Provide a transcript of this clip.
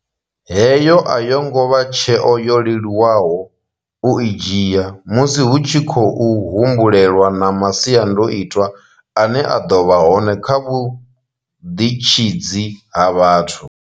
Heyo a yo ngo vha tsheo yo leluwaho u i dzhia, musi hu tshi khou humbulelwa na masiandoitwa ane a ḓo vha hone kha vhuḓitshidzi ha vhathu.